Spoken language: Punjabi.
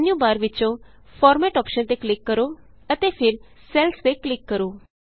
ਹੁਣ ਮੈਨਯੂ ਬਾਰ ਵਿਚੋਂ ਫਾਰਮੈਟ ਅੋਪਸ਼ਨ ਤੇ ਕਲਿਕ ਕਰੋ ਅਤੇ ਫਿਰ ਸੈਲਜ਼ ਤੇ ਕਲਿਕ ਕਰੋ